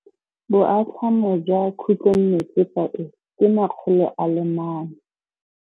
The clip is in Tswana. Boatlhamô jwa khutlonnetsepa e, ke 400.